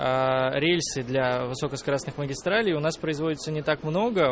рельсы для высокоскоростных магистралей у нас производятся не так много